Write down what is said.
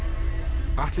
Atli